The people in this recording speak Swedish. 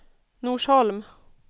Norsholm